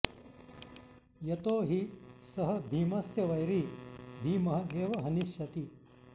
यतो हि सः भीमस्य वैरी भीमः एव हनिष्यति